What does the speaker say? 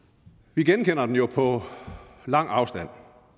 vi genkender den jo på lang afstand